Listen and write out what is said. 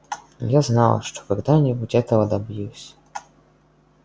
я знал что когда-нибудь этого добьюсь